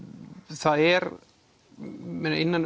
það er innan